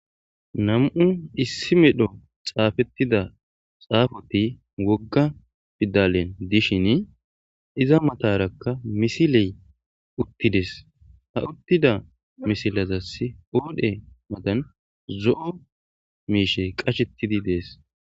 Nam'u issi medho xafeteda xafoti woga pidale gidishini iza mataraka missile utides ha utida missilezasi qadhe matan zo'o mishshi qashetidi deas.